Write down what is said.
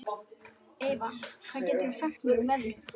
Eyva, hvað geturðu sagt mér um veðrið?